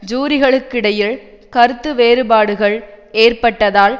ஜூரிகளுக்கிடையில் கருத்து வேறுபாடுகள் ஏற்பட்டதால்